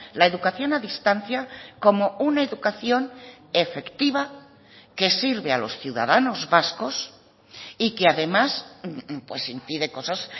la educación a distancia como una educación efectiva que sirve a los ciudadanos vascos y que además impide cosas